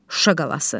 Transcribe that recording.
Şuşa qalası.